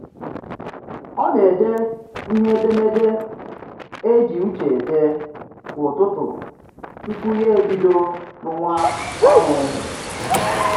Ọ na-ede ihe edemede e ji uche ede kwa ụtụtụ tupu ya ebido rụwa ọrụ